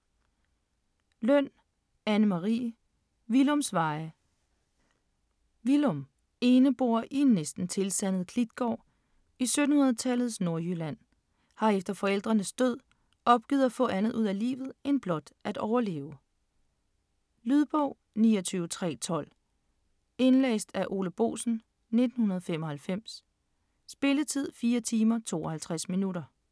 Løn, Anne Marie: Willums veje Willum - eneboer i en næsten tilsandet klitgård i 1700-tallets Nordjylland - har efter forældrenes død opgivet at få andet ud af livet end blot at overleve. Lydbog 29312 Indlæst af Ole Boesen, 1995. Spilletid: 4 timer, 52 minutter.